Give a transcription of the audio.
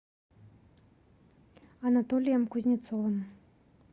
анатолием кузнецовым